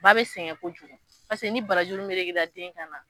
Ba be sɛgɛn kojugu paseke ni barajuru meleke la den kan na